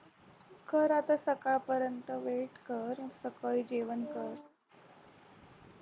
कर आता सकाळ सकाळपर्यंत wait कर सकाळी जेवण कर